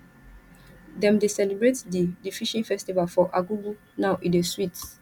dem dey celebrate di di fishing festival for argungu now e dey sweet